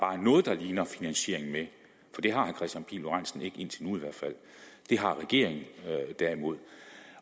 noget der bare ligner finansiering med for det har herre kristian pihl lorentzen ikke indtil nu i hvert fald det har regeringen derimod